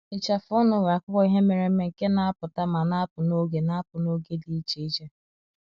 Ịcha afụ ọnụ nwere akụkọ ihe mere eme nke na-apụta ma na-apụ n’oge na-apụ n’oge dị iche iche.